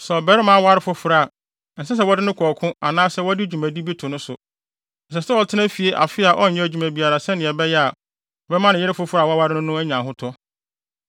Sɛ ɔbarima aware foforo a, ɛnsɛ sɛ wɔde no kɔ ɔko anaasɛ wɔde dwuma bi di to no so. Ɛsɛ sɛ ɔtena fie afe a ɔnyɛ adwuma biara sɛnea ɛbɛyɛ a, ɔbɛma ne yere foforo a waware no no anya ahotɔ.